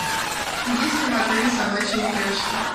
есть ли в отеле собачьи упряжки